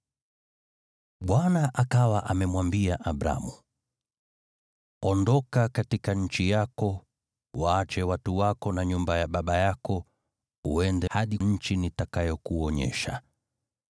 Bwana akawa amemwambia Abramu, “Ondoka kutoka nchi yako, uache jamii yako na nyumba ya baba yako, uende hadi nchi nitakayokuonyesha.